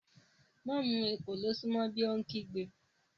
Má mu èkòló sún mọ́ bí, ó kígbe